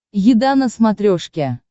еда на смотрешке